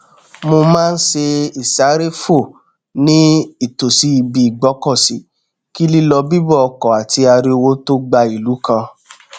mo má n ṣe ìsáréfò ní ìtòsí ibi ìgbọkọsí kí lílọ bíbọ ọkọ àti ariwo tó gba ìlú kan